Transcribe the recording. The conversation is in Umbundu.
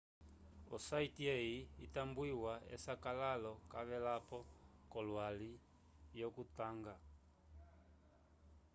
o site eyi itambwiwa esakalalo cavelapo kolwali yo kutanga